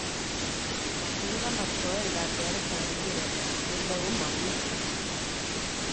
Chekikonobtoe katyaretab mpiretab Keldo komomi?